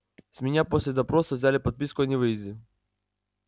с меня после допроса взяли подписку о невыезде